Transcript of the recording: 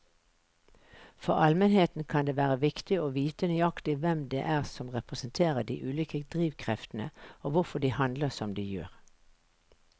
For allmennheten kan det være viktig å vite nøyaktig hvem det er som representerer de ulike drivkreftene og hvorfor de handler som de gjør.